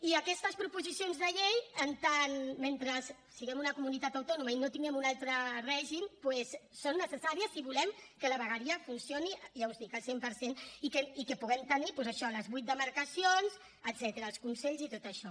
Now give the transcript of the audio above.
i aquestes proposicions de llei mentre siguem una comunitat autònoma i no tinguem un altre règim doncs són necessàries si volem que la vegueria funcioni ja us ho dic al cent per cent i que puguem tenir doncs això les vuit demarcacions etcètera els consells i tot això